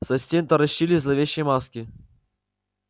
со стен таращились зловещие маски